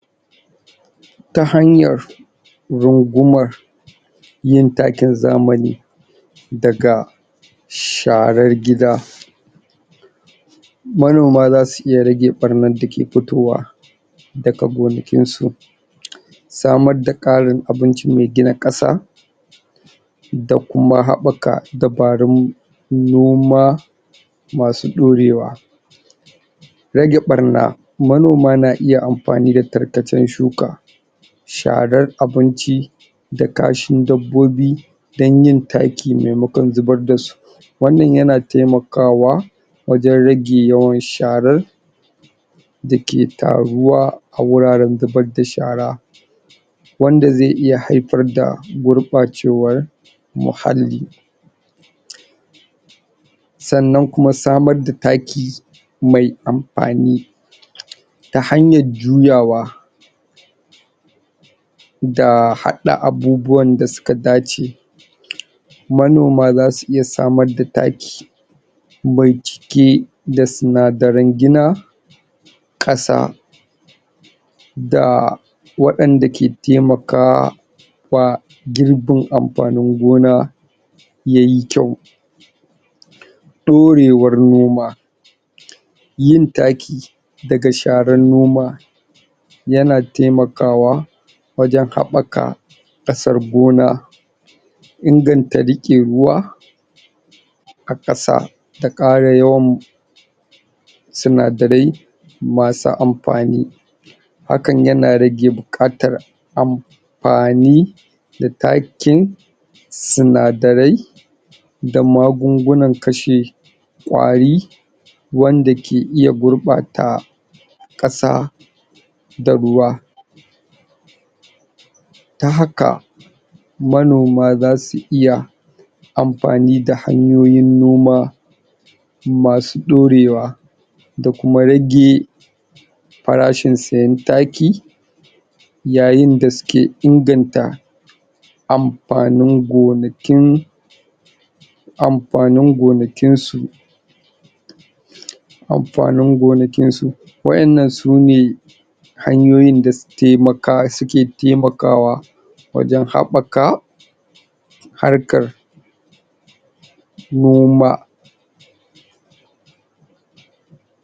Ta hanyar gungumar yin takin zaamani daga sharar gida, manoma zasu iya rage ɓarnar da ke fitowa daga gonakinsu, samadda ƙarin abinci ne dan ƙasa da kuma haɓaka dabarun noma masu ɗorewa, rage ɓarna manoma na iya amfani da tarkacen shuka, sharar abinci, da kashin dabbobi dan yin taki maimakon zubar da su, wannan yana taimakawa wajen rage yawan sharar da ke taruwa a wuraren zubadda shara wanda zai iya haifar da gurɓacewar muhalli, sannan kuma samadda taki mai amfani ta hanyajjuwa da haɗa abubuwanda su ka dace manoma zasu iya samadda taki mai cike da sinadaran gina ƙasa da waɗanda ke temaka wa girbin amfanin gona yayi kyau, ɗorewar noma, yin taki daga sharannoma yana temakawa wajen haɓaka ƙasar gona, inganta riƙe ruwa a ƙasa, da ƙara yawan sinadarai masu amfani, hakan ya na rage buƙar am fani da takin sinadarai da magungunan kashe ƙwari wanda ke iya gurɓata ƙasa da ruwa, ta haka manoma za su iya amfani da hanyoyin noma ma su ɗorewa da kuma rage farashin sayen taki yayin da sike inganta amfanin gonakin amfanin gonakinsu, amfanin gonakinsu, wa'yannan sune hanyoyin da sutemaka suke temakawa wajen haɓaka harkar noma.